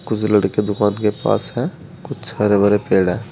कुछ लड़के दुकान के पास हैं कुछ हरे भरे पेड़ हैं।